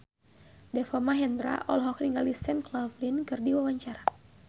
Deva Mahendra olohok ningali Sam Claflin keur diwawancara